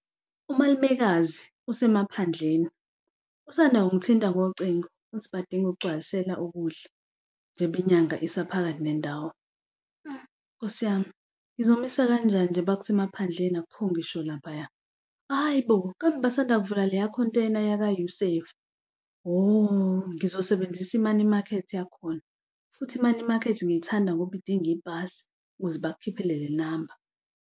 Umalumekazi usemaphandleni usanda kungithinta ngocingo ukuthi badinga ukugcwalisela ukudla njengoba inyanga isephakathi nendawo. Nkosi yami, ngizomisa kanjani nje ngoba kusemaphandleni akukho ngisho laphaya? Hhayi bo, kambe basanda kuvula leyakhonteyina yaka U-Save. Hho, ngizosebenzisa i-money market yakhona futhi i-money market ngiyithanda ngoba idinga iphasi ukuze bakukhiphele le namba.